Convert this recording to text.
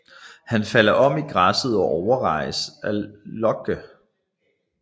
Han falder om i græsset og overraskes af Locke